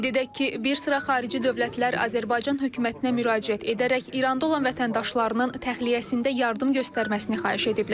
Qeyd edək ki, bir sıra xarici dövlətlər Azərbaycan hökumətinə müraciət edərək İranda olan vətəndaşlarının təxliyəsində yardım göstərməsini xahiş ediblər.